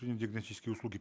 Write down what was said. диагностические услуги